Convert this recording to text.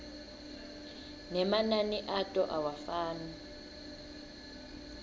nemanani ato awafani